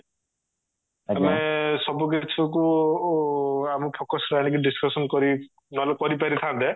ଆମେ ସବୁ କିଛି କୁ ଆମ focus କୁ ଆଣିକି discussion କରିକି ନହେଲେ କରିପାରିଥାନ୍ତେ